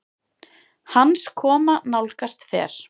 Hans koma nálgast fer